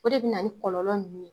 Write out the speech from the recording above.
O de bena ni kɔlɔlɔ nunnu ye